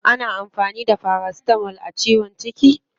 Ana amfani da paracetamol a ciwon ciki?